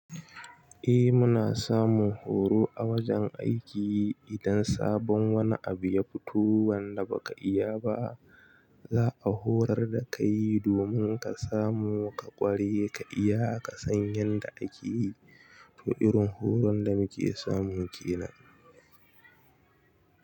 Eh muna samun horo a wajen aiki idan sabon wani abu ya fito wanda baka iya ba, za a horar da kai domin ka samu ka ƙware ka iya ka san yanda ake yi. To irin horon da muke samu kenan.